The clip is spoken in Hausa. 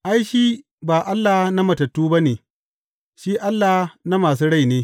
Ai, shi ba Allah na matattu ba ne, shi Allah na masu rai ne.